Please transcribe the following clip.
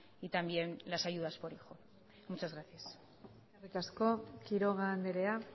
y también las ayudas por hijo muchas gracias eskerrik asko quiroga andrea